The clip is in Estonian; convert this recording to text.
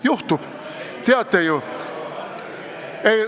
Juhtub, teate ju.